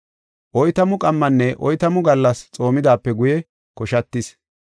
Oytamu qammanne oytamu gallas xoomidaape guye koshatis.